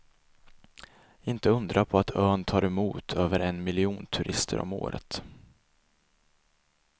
Inte undra på att ön tar emot över en miljon turister om året.